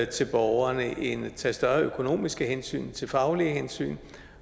til borgerne end at tage større økonomiske hensyn tage faglige hensyn